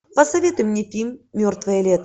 посоветуй мне фильм мертвое лето